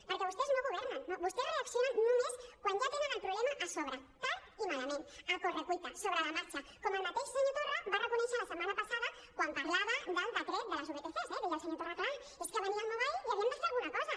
perquè vostès no governen no vostès reaccionen només quan ja tenen el problema a sobre tard i malament a correcuita sobre la marxa com el mateix senyor torra va reconèixer la setmana passada quan parlava del decret de les vtcs eh deia el senyor torra clar és que venia el mobile i havíem de fer alguna cosa